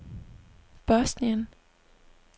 Bosnien